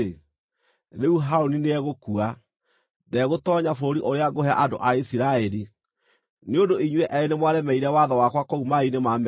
“Rĩu Harũni nĩegũkua. Ndegũtoonya bũrũri ũrĩa ngũhe andũ a Isiraeli, nĩ ũndũ inyuĩ eerĩ nĩmwaremeire watho wakwa kũu maaĩ-inĩ ma Meriba.